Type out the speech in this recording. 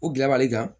O gilabali kan